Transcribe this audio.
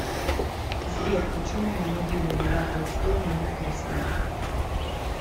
сбер почему на могиле льва толстого нет креста